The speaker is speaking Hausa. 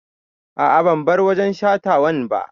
A'a ban bar wajen shatawan ba